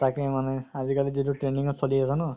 তাকে মানে আজি কালি যিটো trending ত চলি আছে ন